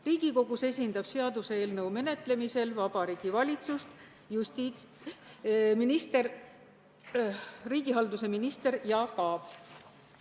Riigikogus esindab seaduseelnõu menetlemisel Vabariigi Valitsust riigihalduse minister Jaak Aab.